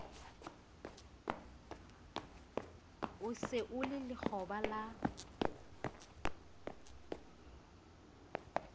se o le lekgoba la